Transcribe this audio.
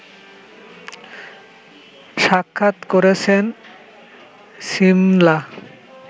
সাক্ষাৎ করেছেন সিমলা